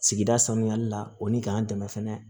Sigida sanuyali la o ni k'an dɛmɛ fɛnɛ